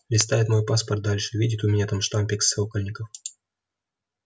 листает мой паспорт дальше видит у меня там штампик сокольников